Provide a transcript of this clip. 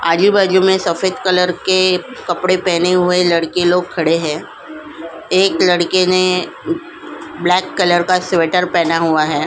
आजू-बाजू में सफेद कलर के कपड़े पहने हुए लड़के लोग खड़े हैं एक लड़के ने ब्लैक कलर का स्वेटर पहना हुआ है ।